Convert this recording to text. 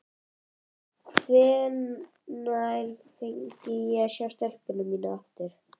Hvenær fengi ég að sjá stelpuna mína aftur?